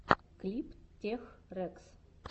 клип тех рэкс